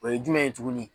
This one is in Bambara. O ye jumɛn ye tuguni